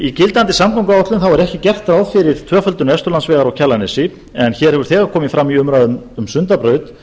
í gildandi samgönguáætlun er ekki gert ráð fyrir tvöföldun vesturlandsvegar á kjalarnesi en hér hefur þegar komið fram í umræðum um sundabraut